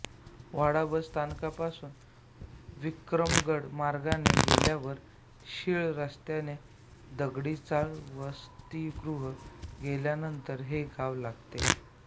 वाडा bus स्थानकापासून विक्रमगड मार्गाने गेल्यावर शीळ रस्त्याने दगडी चाळ वसतिगृह गेल्यानंतर हे गाव लागते